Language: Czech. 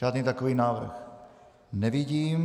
Žádný takový návrh nevidím.